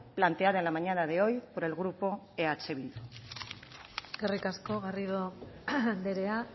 planteada en la mañana de hoy por el grupo eh bildu eskerrik asko garrido andrea